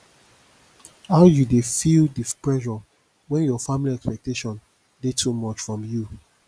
how you dey feel di pressure when your family expectation dey too much from you